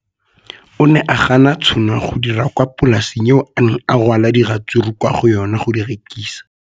O ne a gana tšhono ya go dira kwa polaseng eo a neng rwala diratsuru kwa go yona go di rekisa.